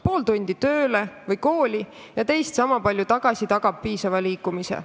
Pool tundi tööle või kooli ja teist sama palju tagasi tagab piisava liikumise.